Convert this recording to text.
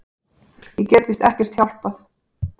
Ég get víst ekkert hjálpað.